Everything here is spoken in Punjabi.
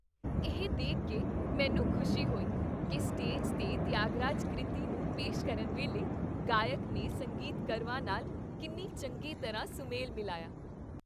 ਇਹ ਦੇਖ ਕੇ ਮੈਨੂੰ ਖੁਸ਼ੀ ਹੋਈ ਕੀ ਸਟੇਜ 'ਤੇ ਤਿਆਗਰਾਜ ਕ੍ਰਿਤੀ ਨੂੰ ਪੇਸ਼ ਕਰਨ ਵੇਲੇ ਗਾਇਕ ਨੇ ਸੰਗੀਤਕਰਵਾਂ ਨਾਲ ਕਿੰਨੀ ਚੰਗੀ ਤਰ੍ਹਾਂ ਸੁਮੇਲ ਮਿਲਾਇਆ।